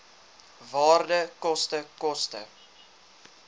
waarde koste koste